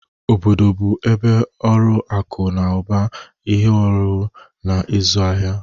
Obodo bụ ebe ọrụ akụ na ụba, ihe ọhụrụ, na ịzụ ahịa.